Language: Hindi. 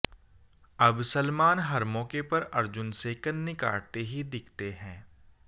अब सलमान हर मौके पर अर्जुन से कन्नी काटते ही दिखते हैं